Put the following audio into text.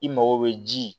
I mago bɛ ji